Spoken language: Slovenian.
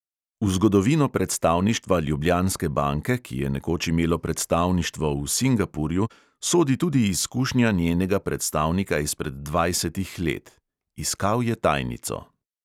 V zgodovino predstavništva ljubljanske banke, ki je nekoč imelo predstavništvo v singapurju, sodi tudi izkušnja njenega predstavnika izpred dvajsetih let: iskal je tajnico.